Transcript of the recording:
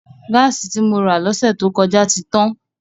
Gáàsì tí mo rà lọ́sẹ̀ tó kọjá ti tán.